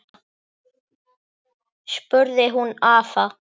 spurði hún afa.